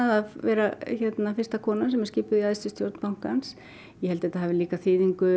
að vera fyrsta konan sem er skipuð í æðstu stjórn bankans ég held þetta hafi líka þýðingu